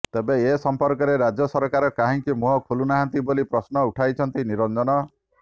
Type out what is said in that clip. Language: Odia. ତେବେ ଏ ସମ୍ପର୍କରେ ରାଜ୍ୟ ସରକାର କାହିଁକି ମୁହଁ ଖୋଲୁନାହାନ୍ତି ବୋଲି ପ୍ରଶ୍ନ ଉଠାଇଛନ୍ତି ନିରଞ୍ଜନ